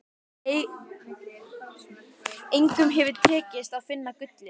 Engum hefur tekist að finna gullið.